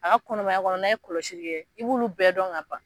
A ka kɔnɔmaya kɔnɔ na ye kɔlɔsili kɛ i b'olu bɛɛ dɔn ka ban.